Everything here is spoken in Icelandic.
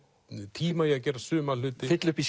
tíma í að gera suma hluti fylla upp í